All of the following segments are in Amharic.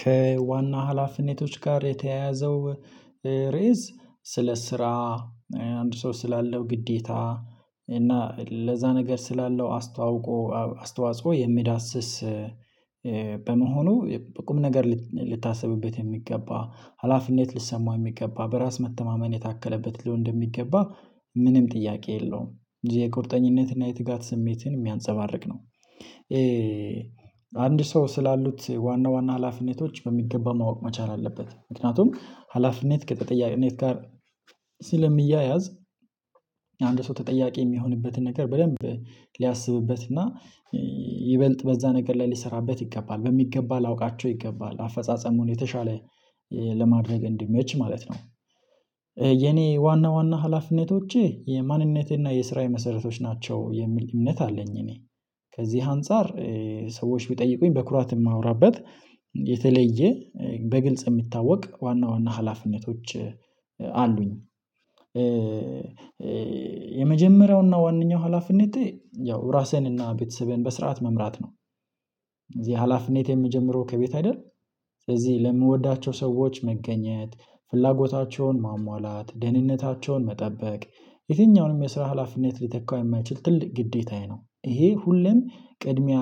ከዋና ሀላፊነቶች ጋር የተያያዘው ርዕስ ስለ ስራ አንድ ሰው ስላለው ግዴታ እና ለዛ ነገር ስላለው አስታውቆ አስተዋጽኦ የሚዳስስ በመሆኑ ቁም ነገር ልታስብበት የሚገባ ሀላፊነት ልትሰማው የሚገባ በራስ መተማመን የታከለበት ሊሆን እንደሚገባ ምንም ጥያቄ የለውም ጊዜ የትጋት ስሜትን የሚያንፀባርቅ ነው። አንድ ሰው ስላሉት ዋና ዋና ሀላፊ ነቶች በሚገባ ማወቅ መቻል አለበት ምክንያቱም ሀላፊነት ከተጠያቂነት ጋር ስለሚያያዝ። አንድ ሰው ተጠያቂ የሚሆንበትን ነገር በደንብ ሊያስብበትና ይበልጥ በዛ ነገር ላይ ሊሰራበት ይገባል በሚገባ ላውቃቸው ይገባል አፈጻጸሙን የተሻለ ለማድረግ እንዲመች ማለት ነው። የኔ ዋና ዋና ሀላፊነቶቼ የማንነቴና የስራዬ መሰረቶች ናቸው የሚል እምነት አለኝ። እኔ ከዚህ አንፃር ሰዎች ቢጠይቁኝ በኩራት የማወራበት የተለየ በግልጽ የሚታወቅ ዋና ዋና ሀላፊነቶች አሉኝ። የመጀመሪያውና ዋናው ሀላፊነቴ ያው ራስህንና ቤተሰብህን በስርዓት መምራት ነው። እዚህ ሀላፊነት የምጀምረው ከቤት አይደል። ስለዚህ ለምወዳቸው ሰዎች መገኘት ፍላጎታቸውን ማሟላት ደህንነታቸውን መጠበቅ የትኛውንም የስራ ሀላፊነት ሊተካ የማይችል ትልቅ ግዴታዬ ነው። ይሄ ሁሌም ቅድሚያ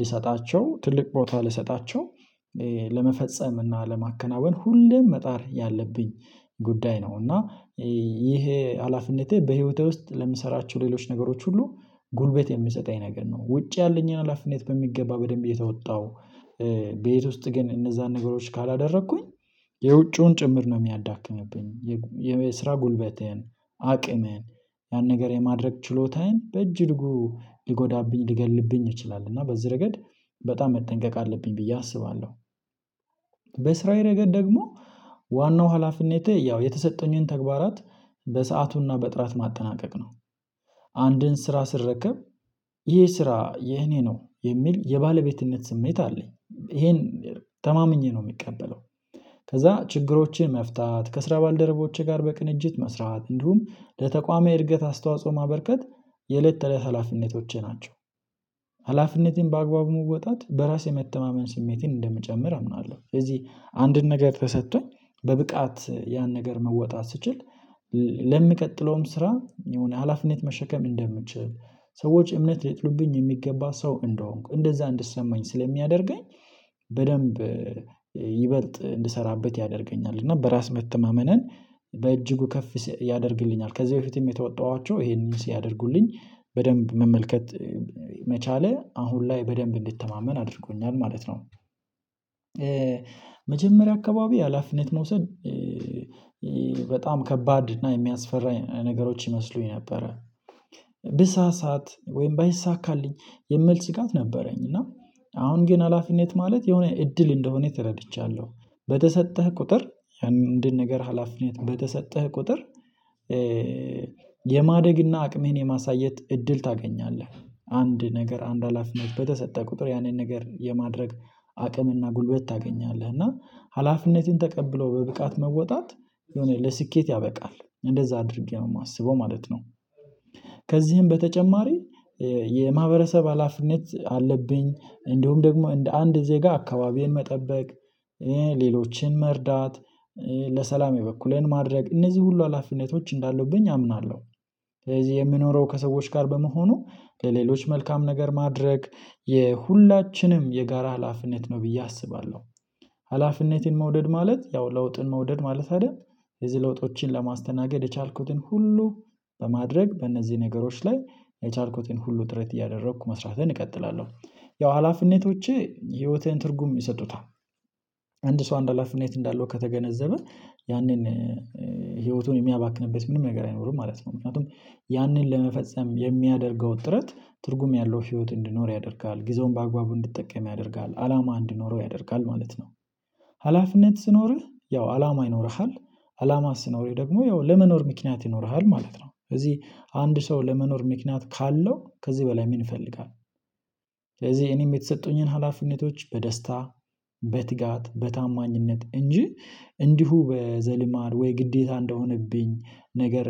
ልሰጣቸው ትልቅ ቦታ ልሰጣቸው ለመፈጸም እና ለማከናወን ሁሉም መጣር ያለብኝ ጉዳይ ነው። እና ይሄ ሀላፊነቴ በህይወቴ ውስጥ ለምሰራቸው ሌሎች ነገሮች ሁሉ ጉልበት የምንሰጠኝ ነገር ነው። ውጪ ያለኝን ሀላፊነት በሚገባ በደንብ እየተወጣሁ ቤት ውስጥ ግን እነዛን ነገሮች ካላደረኩኝ የውጪውን ጭምር ነው የሚያዳክምብኝ የስራ ጉልበቴን አቅሜን ያን ነገር የማድረግ ችሎታዬን በእጅጉ ሊጎዳብኝ ሊገልብኝ ይ ችላል። እና በዚህ ረገድ በጣም መጠንቀቅ አለብኝ ብዬ አስባለሁ። በስራዬ ረገድ ደግሞ ዋናው ሀላፊነቴ ያው የተሰጠኝን ተግባራት በሰአቱና በጥራት ማጠናቀቅ ነው። አንድን ስራ ስረከብ ይህ ስራ የኔ ነው የሚል የባለቤትነት ስሜት አለኝ ይሄን ተማምኜ ነው የምቀበለው። ከዛ ችግሮቼን መፍታት ከስራ ባልደረቦችህ ጋር በቅንጅት መስራት እንዲሁም ለተቋማዊ እድገት አስተዋጽኦ ማበርከት የእለት ተእለት ሀላፊነቶቼ ናቸው። ሀላፊነቴን በአግባቡ መወጣት በራሴ መተማመን ስሜቴን እንደሚጨምር አምናለሁ። ስለዚህ አንድን ነገር ተሰጥቶኝ በብቃት ያን ነገር መወጣት ስችል ለምቀጥለውም ስራ የሆነ ሀላፊነት መሸከም እንደምችል ሰዎች እምነት ሊጥሉብኝ የሚገባ ሰው እንደሆንኩ እንደዛ እንድሰማኝ ስለሚያደርገኝ። በደንብ ይበልጥ እንድሰራበት ያደርገኛል እና በራስ መተማመንን በእጅጉ ከፍ ያደርግልኛል። ከዚህ በፊትም የተወጣኋቸው ይሄንን ሲያደርጉልኝ በደንብ መመልከት መቻሌ አሁን ላይ በደንብ እንድተማመን አድርጎኛል ማለት ነው። መጀመሪያ አካባቢ ሀላፊነት መውሰድ በጣም ከባድ እና የሚያስፈራ ነገሮች ይመስሉኝ ነበረ። ብሳሳት ወይም ባይሳካልኝ የሚል ስጋት ነበረኝ። እና አሁን ግን ሀላፊነት ማለት የሆነ እድል እንደሆነ ተረድቻለሁ። በተሰጠህ ቁጥር አንድን ነገር ሀላፊነት በተሰጠህ ቁጥር። የማደግና አቅሜን የማሳየት እድል ታገኛለህ አንድ ነገር አንድ ሀላፊነት በተሰጠህ ቁጥር ያንን ነገር የማድረግ አቅምና ጉልበት ታገኛለህ እና ሀላፊነትን ተቀብሎ በብቃት መወጣት የሆነ ለስኬት ያበቃል እንደዛ አድርጌ ነው የማስበው ማለት ነው። ከዚህም በተጨማሪ የማህበረሰብ ሀላፊነት አለብኝ እንዲሁም ደግሞ እንደ አንድ ዜጋ አካባቢን መጠበቅ ሌሎችን መርዳት ለሰላም የበኩሌን ማድረግ እነዚህ ሁሉ ሀላፊነቶች እንዳለብኝ አምናለሁ። ስለዚህ የምኖረው ከሰዎች ጋር በመሆኑ ለሌሎች መልካም ነገር ማድረግ የሁላችንም የጋራ ሃላፍነት ነው ብዬ አስባለሁ። ሀላፊነቴን መውደድ ማለት ያው ለውጥን መውደድ ማለት አይደል? የዚህ ለውጦችን ለማስተናገድ የቻልኩትን ሁሉ በማድረግ በእነዚህ ነገሮች ላይ የቻልኩትን ሁሉ ጥረት እያደረኩ መስራትን እቀጥላለሁ። ያው ሀላፊነቶቼ ህይወቴን ትርጉም ይሰጡታል። አንድ ሰው አንድ ሀላፊነት እንዳለው ከተገነዘበ ያንን ህይወቱን የሚያባክንበት ምንም ነገር አይኖርም ማለት ነው። ምክንያቱም ያንን ለመፈጸም የሚያደርገው ጥረት ትርጉም ያለው ህይወት እንድኖር ያደርጋል ጊዜውን በአግባቡ እንድጠቀም ያደርጋል አላማ እንድኖረው ያደርጋል ማለት ነው። ሀላፊነት ሲ ኖርህ ያው አላማ ይኖርሃል። አላማ ስኖርህ ደግሞ ያው ለመኖር ምክንያት ይኖርሃል ማለት ነው። ስለዚህ አንድ ሰው ለመኖር ምክንያት ካለው ከዚህ በላይ ምን ይፈልጋል? ስለዚህ እኔም የተሰጠሁኝን ሀላፊነቶች በደስታ በትጋት በታማኝነት እንጂ እንዲሁ በዘልማድ ወይ ግዴታ እንደሆነብኝ ነገር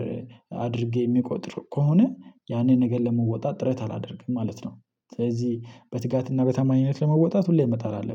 አድርጌ የምቆጥር ከሆነ ያኔ ነገር ለመወጣት ጥረት አላደርግም ማለት ነው። ስለዚህ በትጋትና በተማኝነት ለመወጣት ሁሌ መጣል አለብኝ